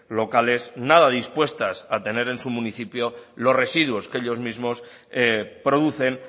locales nada dispuestas a tener en su municipio los residuos que ellos mismos producen